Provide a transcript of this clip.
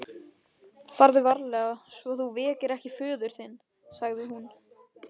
Farðu varlega svo þú vekir ekki föður þinn, sagði hún.